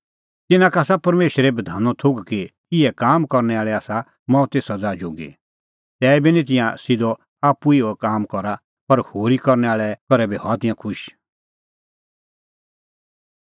तिन्नां का आसा परमेशरे बधानो थोघ कि इहै कामां करनै आल़ै आसा मौते सज़ा जोगी तैबी तिंयां नां सिधअ आप्पू इहअ काम करा पर होरी करनै आल़ै करै बी हआ तिंयां खुश